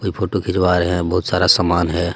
कोई फोटो खिंचवा रहे हैं बहुत सारा सामान है.